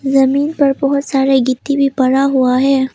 जमीन पर बहोत सारे गिट्टी भी पड़ा हुआ है।